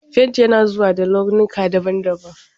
Fenti yana zuwa da launuka daban-daban.